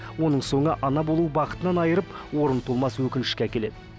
оның соңы ана болу бақытынан айырып орны толмас өкінішке әкеледі